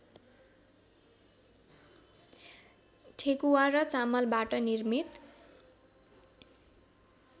ठेकुवा र चामलबाट निर्मित